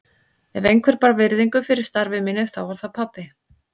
Ef einhver bar virðingu fyrir starfi mínu þá var það pabbi.